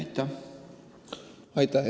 Aitäh!